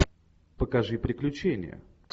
покажи приключения